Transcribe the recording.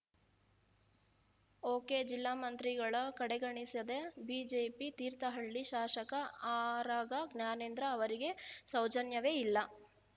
ಒಕೆಜಿಲ್ಲಾ ಮಂತ್ರಿಗಳ ಕಡೆಗಣಿಸಿದ ಬಿಜೆಪಿ ತೀರ್ಥಹಳ್ಳಿ ಶಾಸಕ ಆರಗ ಜ್ಞಾನೇಂದ್ರ ಅವರಿಗೆ ಸೌಜನ್ಯವೇ ಇಲ್ಲ